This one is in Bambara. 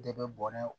De bɛ bɔnɛ